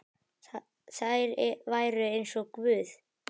Þær væru eins og guð.